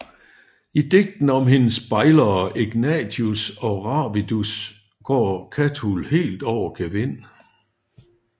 I digtene om hendes bejlere Egnatius og Ravidus går Catul helt over gevind